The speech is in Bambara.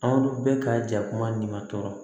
Anw bɛ ka ja kuma min tɔɔrɔ